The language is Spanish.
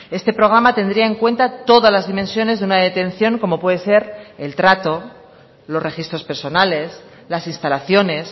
este programa tendría en cuenta todas las dimensiones de una detención como puede ser el trato los registros personales las instalaciones